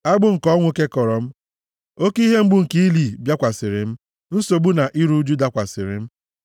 Agbụ nke ọnwụ kekọrọ m, oke ihe mgbu nke ili bịakwasịrị m; nsogbu na iru ụjụ dakwasịrị m.